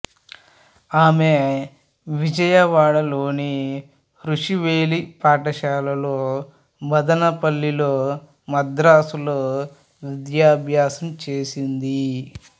ఆమె విజయవాడలోని రుషి వేలీ పాఠశాలలో మదనపల్లిలో మద్రాసులో విద్యాభ్యాసం చేసింది